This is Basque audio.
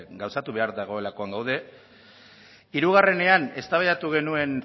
gauzatu behar dagoelakoan gaude hirugarrenean eztabaidatu genuen